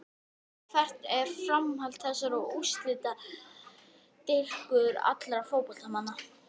En hvert er framhald þessarar útlitsdýrkunar okkar fótboltamanna?